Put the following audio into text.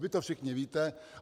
Vy to všichni víte.